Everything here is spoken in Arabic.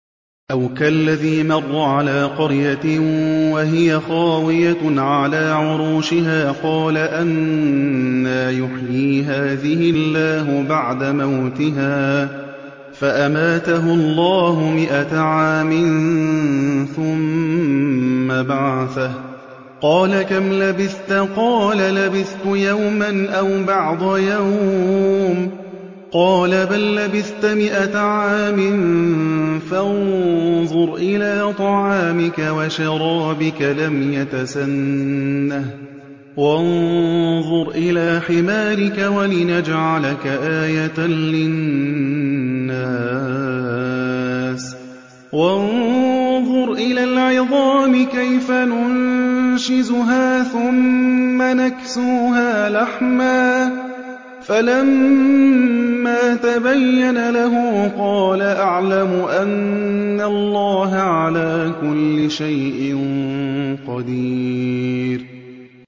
أَوْ كَالَّذِي مَرَّ عَلَىٰ قَرْيَةٍ وَهِيَ خَاوِيَةٌ عَلَىٰ عُرُوشِهَا قَالَ أَنَّىٰ يُحْيِي هَٰذِهِ اللَّهُ بَعْدَ مَوْتِهَا ۖ فَأَمَاتَهُ اللَّهُ مِائَةَ عَامٍ ثُمَّ بَعَثَهُ ۖ قَالَ كَمْ لَبِثْتَ ۖ قَالَ لَبِثْتُ يَوْمًا أَوْ بَعْضَ يَوْمٍ ۖ قَالَ بَل لَّبِثْتَ مِائَةَ عَامٍ فَانظُرْ إِلَىٰ طَعَامِكَ وَشَرَابِكَ لَمْ يَتَسَنَّهْ ۖ وَانظُرْ إِلَىٰ حِمَارِكَ وَلِنَجْعَلَكَ آيَةً لِّلنَّاسِ ۖ وَانظُرْ إِلَى الْعِظَامِ كَيْفَ نُنشِزُهَا ثُمَّ نَكْسُوهَا لَحْمًا ۚ فَلَمَّا تَبَيَّنَ لَهُ قَالَ أَعْلَمُ أَنَّ اللَّهَ عَلَىٰ كُلِّ شَيْءٍ قَدِيرٌ